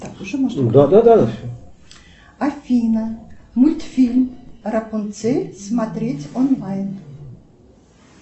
афина мультфильм рапунцель смотреть онлайн